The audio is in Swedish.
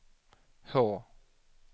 H